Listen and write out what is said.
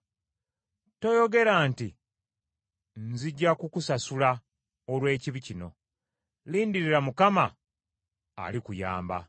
Toyogera nti, “Nzija kukusasula olw’ekibi kino!” Lindirira Mukama alikuyamba.